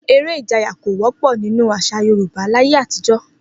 Eré ìjayà kò wó̩pò̩ nínú às̩à Yorùbá láyé àtijó̩